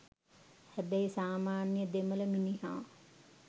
හැබැයි සාමාන්‍යය දෙමළ මිනිහා